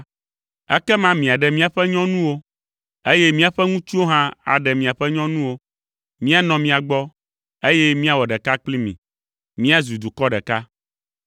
ekema miaɖe míaƒe nyɔnuwo, eye míaƒe ŋutsuwo hã aɖe miaƒe nyɔnuwo, míanɔ mia gbɔ, eye míawɔ ɖeka kpli mi, míazu dukɔ ɖeka.